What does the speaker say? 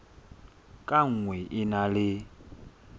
ka nngwe e na le